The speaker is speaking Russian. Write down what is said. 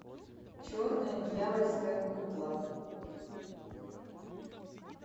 черная дьявольская кукла